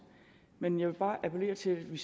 men jeg vil bare appellere til at vi